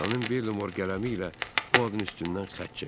Xanım Belmor qələmi ilə bu adın üstündən xətt çəkdi.